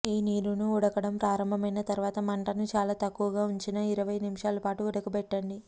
ఈ నీరును ఉడకడం ప్రారంభమైన తర్వాత మంటను చాలా తక్కువగా ఉంచిగా ఇరవై నిమిషాలు పాటు ఉడకబెట్టండి